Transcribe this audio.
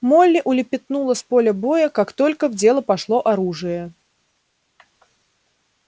молли улепетнула с поля боя как только в дело пошло оружие